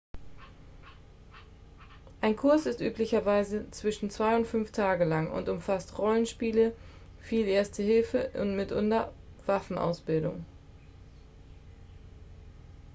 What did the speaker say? ein kurs ist üblicherweise zwischen 2 und 5 tage lang und umfasst rollenspiele viel erste hilfe und mitunter waffenausbildung